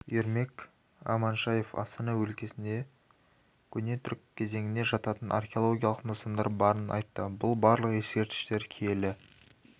ермек аманшаев астана өлкесінде көне түрік кезеңіне жататын археологиялық нысандар барын айтты бұл барлық ескерткіштер киелі